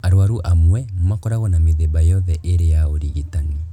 Arwaru amwe makorwago na mĩthemba yothe ĩrĩ ya ũrigitani